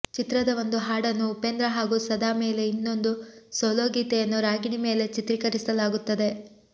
ಚಿತ್ರದ ಒಂದು ಹಾಡನ್ನು ಉಪೇಂದ್ರ ಹಾಗೂ ಸದಾ ಮೇಲೆ ಇನ್ನೊಂದು ಸೋಲೋ ಗೀತೆಯನ್ನು ರಾಗಿಣಿ ಮೇಲೆ ಚಿತ್ರೀಕರಿಸಲಾಗುತ್ತದೆ